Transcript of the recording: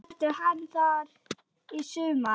Verður hann þar í sumar?